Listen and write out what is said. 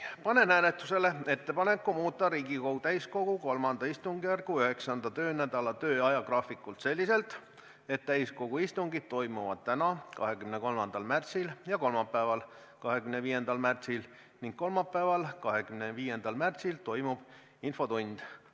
Panen hääletusele ettepaneku muuta Riigikogu täiskogu III istungjärgu 9. töönädala ajagraafikut selliselt, et täiskogu istungid toimuvad täna, 23. märtsil, ja kolmapäeval, 25. märtsil, ning kolmapäeval, 25. märtsil toimub infotund.